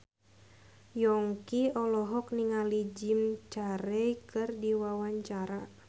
Yongki olohok ningali Jim Carey keur diwawancara